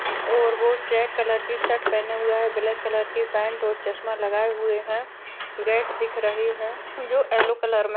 और वो check colour की शर्ट पहने हुए है ब्लैक कलर की पैंट और चश्मा लगाए हुए है गेट दिख रही है जो येलो कलर में --